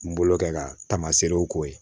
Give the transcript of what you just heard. N bolo kɛ ka tamaseerew k'o ye